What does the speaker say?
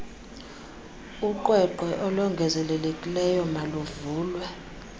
uqweqwe olongezelelekileyo maluvulwe